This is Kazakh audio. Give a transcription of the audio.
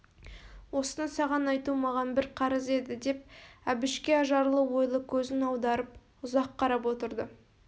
осыны саған айту маған бір қарыз еді деп әбішке ажарлы ойлы көзін аударып ұзақ қарап отырды